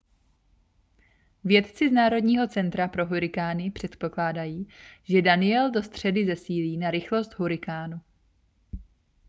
vědci z národního centra pro hurikány předpokládají že danielle do středy zesílí na rychlost hurikánu